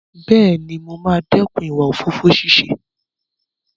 Bẹ́ẹ̀ni, mo máa dẹ́kun ìwà òfófó ṣíṣe.